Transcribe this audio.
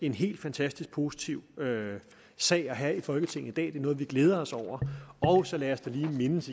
en helt fantastisk positiv sag at have i folketinget i det noget vi glæder os over og så lad os da lige igen mindes